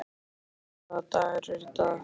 Stapi, hvaða dagur er í dag?